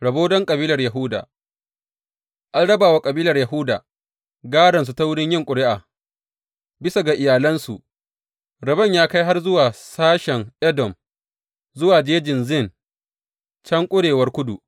Rabo don kabilar Yahuda An raba wa kabilar Yahuda gādonsu ta wurin yin ƙuri’a, bisa ga iyalansu, rabon ya kai har zuwa sashen Edom, zuwa Jejin Zin can kurewar kudu.